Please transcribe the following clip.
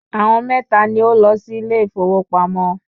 Àwọn mẹ́ta ni ó lọ sí ilé ìfowópamọ́